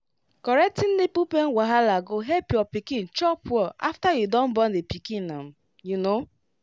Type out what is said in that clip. correcting nipple pain wahala go help your pikin chop well after you don born the pikin um you know